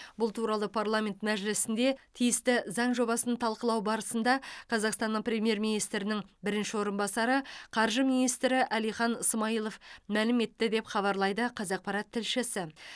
бұл туралы парламент мәжілісінде тиісті заң жобасын талқылау барысында қазақстанның премьер министрінің бірінші орынбасары қаржы министрі әлихан смайылов мәлім етті деп хабарлайды қазақпарат тілшісі